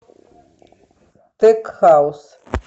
тек хаус